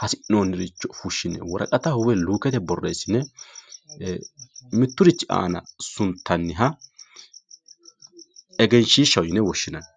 hasi'nooniricho fushshine woraqataho woy luukete borreesine mitturichi aana suntanniha egenshiishaho yine woshshinanni